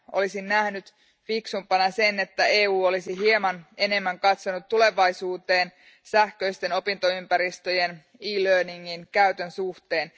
Olisin nähnyt fiksumpana sen, että EU olisi hieman enemmän katsonut tulevaisuuteen sähköisten opintoympäristöjen, e learningin käytön suhteen.